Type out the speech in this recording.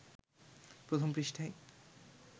প্রথম পৃষ্ঠায়